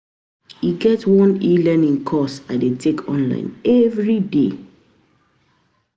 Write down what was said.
E get one e-learning course I dey take online everyday